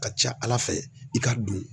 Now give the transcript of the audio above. Ka ca Ala fɛ i ka don